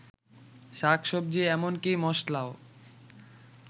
শাকসবজি এমনকি মসলাও